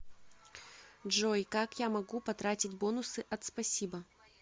джой как я могу потратить бонусы от спасибо